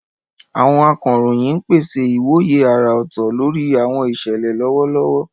Àwọn akọ̀ròyìn ń pèsè ìwòye àrà ọ̀tọ̀ lórí àwọn ìṣẹ̀lẹ̀ lọ́wọ́lọ́wọ́.